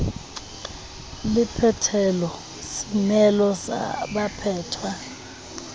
le phethelo semelo sa baphetwa